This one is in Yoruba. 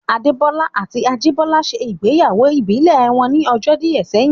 Adé Bọ́lá àti Ajìbọ́lá ṣe ìgbéyàwó ìbílẹ̀ wọn ní ọjọ́ díẹ̀ sẹ́yìn